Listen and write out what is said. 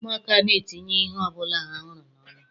Ụmụaka na-etinye ihe ọbụla ha hụrụ n'ọnụ.